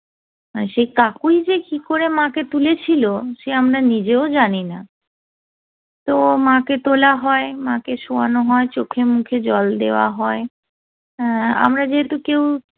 আর সে কাকুই যে কি করে মাকে তুলেছিল সে আমরা নিজেও জানিনা তো মাকে তোলা হয় মাকে সোয়ানো হয় চোখে মুখে জল দেওয়া হয় অ্যা আমরা যেহেতু কেউ